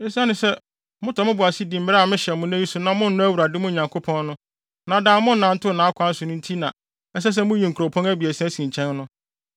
esiane sɛ motɔ mo bo ase di mmara a mehyɛ mo nnɛ yi sɛ monnɔ Awurade, mo Nyankopɔn no, na daa monnantew nʼakwan so no so nti na, ɛsɛ sɛ muyi nkuropɔn abiɛsa si nkyɛn no.